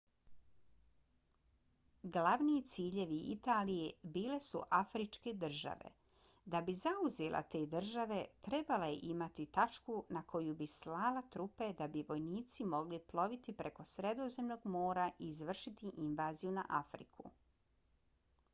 glavni ciljevi italije bile su afričke države. da bi zauzela te države trebala je imati tačku na koju bi slala trupe da bi vojnici mogli ploviti preko sredozemnog mora i izvršiti invaziju na afriku